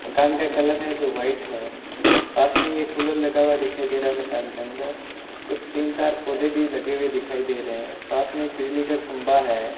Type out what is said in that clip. दुकान का कलर है जो वाइट है पास में एक कूलर लगा हुआ दिखाई दे रहा है मकान के अंदर कुछ तीन चार पौधे भी लगे हुए दिखाई दे रहे हैं पास में एक बिजली का खंभा है।